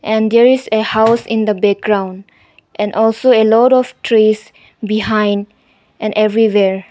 and there is a house in the background and also a lot of trees behind an everywhere.